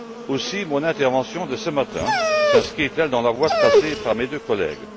Aussi mon intervention de ce matin s'inscrit elle dans la voie tracée par mes deux collègues.